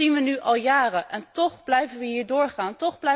Dat zien we nu al jaren en toch blijven we hiermee doorgaan.